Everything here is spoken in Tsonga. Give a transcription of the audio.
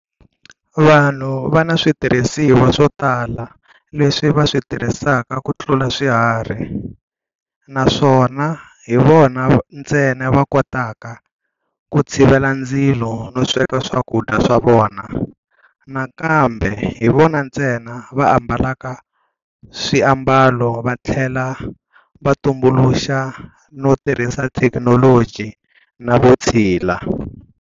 Vanhu vana switirhisiwa swo tala leswi va switirhisaka kutlula swiharhi, naswona hi vona ntsena vakotaka ku tshivela ndzilo no sweka swakudya swa vona, nakambe hivona ntsena va ambalaka swi ambalo vathlela va tumbuluxa no tirhisa thekinoloji na vutshila.